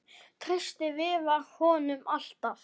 Treysti Viðar honum alltaf?